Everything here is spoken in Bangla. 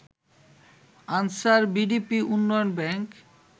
আনসার ভিডিপি উন্নয়ন ব্যাংক